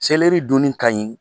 Sɛlɛri dunni ka ɲin